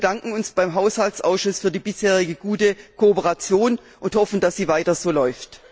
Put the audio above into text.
Wir bedanken uns beim Haushaltsausschuss für die bisherige gute Kooperation und hoffen, dass sie weiter so läuft.